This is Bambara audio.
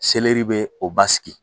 bee o basigi.